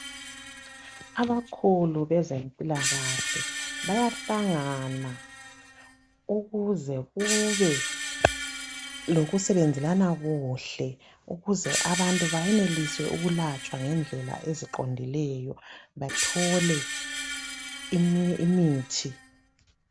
Abakhulu bezempilakahle, bayahlangana ukuze kube lokusebenzelana kuhle. Ukuze abantu benelise ukwelatshwa ngendlela eziqondiileyo. Bathole imithi.